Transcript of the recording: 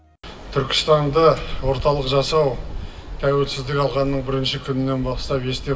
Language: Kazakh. түркістанды орталық жасау тәуелсіздік алғанның бірінші күнінен бастап есте